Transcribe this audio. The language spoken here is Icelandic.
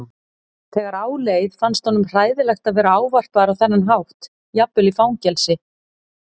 Þegar á leið fannst honum hræðilegt að vera ávarpaður á þennan hátt jafnvel í fangelsi.